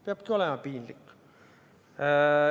Peabki olema piinlik.